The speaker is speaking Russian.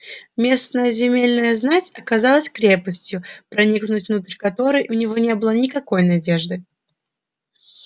местная земельная знать оказалась крепостью проникнуть внутрь которой у него не было никакой надежды